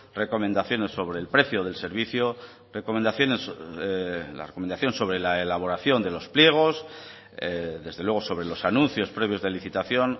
recomendaciones sobre el precio del servicio la recomendación sobre la elaboración de los pliegos desde luego sobre los anuncios previos de licitación